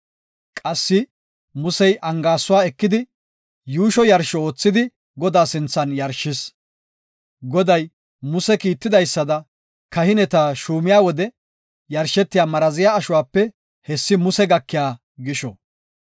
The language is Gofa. Qassi Musey angaasuwa ekidi, yuusho yarsho oothidi Godaa sinthan yarshis. Goday Muse kiitidaysada, kahineta shuumiya wode yarshetiya maraziya ashuwape hessi Muse gakiya gisho.